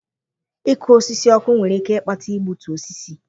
Ịkụ osisi ọkụ nwere ike ịkpata igbutu osisi